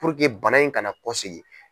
Puruke bana in kana kɔsegin.